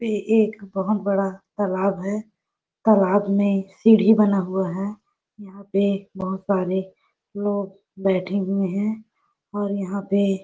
ये एक बहोत बड़ा तालाब है तालाब मे सीढ़ी बना हुआ है यहाँ पे बहुत सारे लोग बैठ हुए है और यहाँ पे--